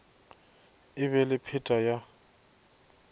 e be le pheta ya